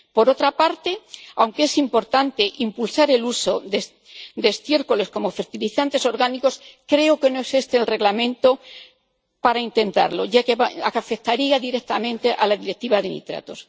Por otra parte, aunque es importante impulsar el uso de estiércoles como fertilizantes orgánicos, creo que no es este el reglamento para intentarlo, ya que afectaría directamente a la Directiva sobre los nitratos.